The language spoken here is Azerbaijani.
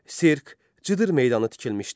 Sirk, cıdır meydanı tikilmişdi.